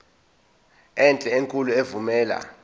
enhle enkulu evumela